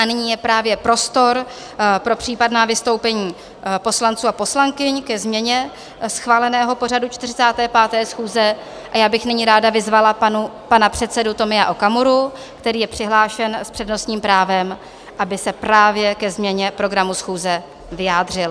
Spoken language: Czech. A nyní je právě prostor pro případná vystoupení poslanců a poslankyň ke změně schváleného pořadu 45. schůze a já bych nyní ráda vyzvala pana předsedu Tomia Okamuru, který je přihlášen s přednostním právem, aby se právě ke změně programu schůze vyjádřil.